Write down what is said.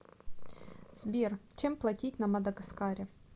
сбер чем платить на мадагаскаре